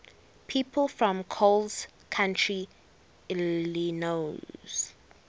people from coles county illinois